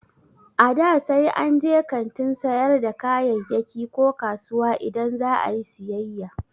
A da, sai an je kantin sayar da kayayyaki ko kasuwa idan za a yi siyayya